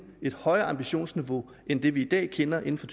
et højere ambitionsniveau end det vi i dag kender inden for